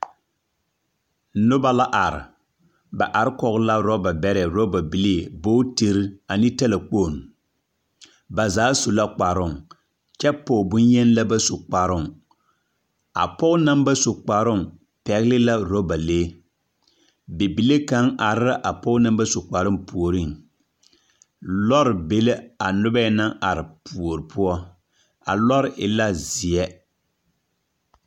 Noba la are. Ba are kɔge la oraba bɛrɛ, oraba bilii. Bootiri ane talakponni. Ba zaa su la kparooŋ kyɛ pɔge boŋyeni la ba su kparoŋ. A pɔge naŋba su kparoŋ pɛgele la oraba lee. Bibile kaŋ are la a pɔge naŋ ba su kparoŋ puoriŋ lɛre be ala anoba nyɛ naŋ are puori poɔ. A lɔre e la zeɛ.